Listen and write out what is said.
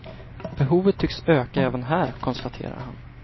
Behovet tycks öka även här, konstaterar han.